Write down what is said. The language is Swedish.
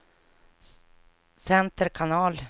center kanal